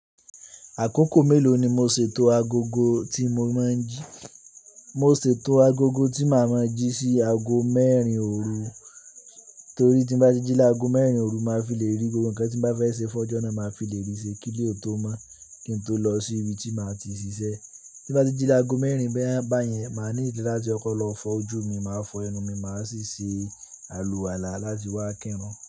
Àkókò mélòó ni mo ṣètò agogo tí mo máa ń jí? Mo ṣètò agogo tí màa ma jí sí aago mẹ́rin òru, torí tí n bá ti jí láago mẹ́rin òru, màá fi lè rí gbogbo nǹkan tí n bá fẹ́ ṣe fun ojo nàa. Màá fi lè rí ṣe kíle tó mọ́ kí n tó lọ sí ibi tí màá ti ṣiṣẹ́. Tí n bá ti jí láago mẹ́rin beyẹn, màá ní ìlera láti kọkọ̀ lọ fọ́ ojú mi, màá fọ ẹnu mi, màá sì ṣe àlùwàlá láti wá kírun.